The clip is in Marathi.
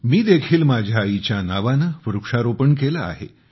मी देखील माझ्या आईच्या नावाने वृक्षारोपण केले आहे